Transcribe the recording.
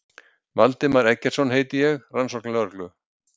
Valdimar Eggertsson heiti ég, rannsóknarlögreglu